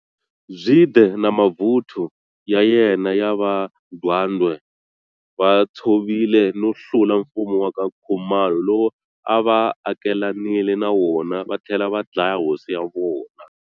Zwide na mavuthu ya yena ya va Ndwandwe, vatshovile no hlula mfumo wa ka Khumalo lowu ava akelanile na wona vathlela va dlaya hosi ya wona